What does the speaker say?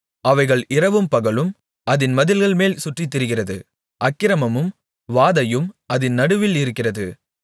அவைகள் இரவும்பகலும் அதின் மதில்கள்மேல் சுற்றித்திரிகிறது அக்கிரமமும் வாதையும் அதின் நடுவில் இருக்கிறது